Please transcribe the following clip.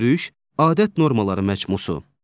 görüş, adət normaları məcmu.